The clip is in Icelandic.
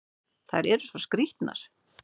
Þær eru svo skrýtnar!